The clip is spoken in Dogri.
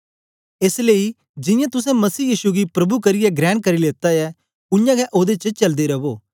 एस लेई जियां तुसें मसीह यीशु गी प्रभु करियै ग्रहण करी लेता ऐ उयांगै ओदे च चलदे रवो